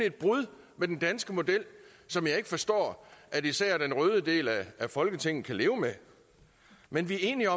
et brud med den danske model som jeg ikke forstår at især den røde del af folketinget kan leve med men vi er enige